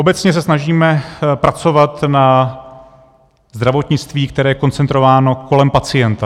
Obecně se snažíme pracovat na zdravotnictví, které je koncentrováno kolem pacienta.